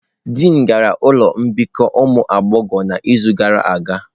Dịin gara ụlọ mbikọ ụmụ agbọghọ n'izu gara aga.